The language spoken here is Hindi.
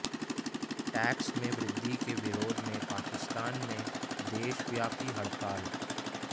टेक्स में वृद्धि के विरोध में पाकिस्तान में देशव्यापी हड़ताल